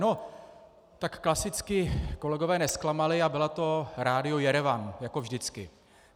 No, tak klasicky kolegové nezklamali a bylo to Rádio Jerevan jako vždycky.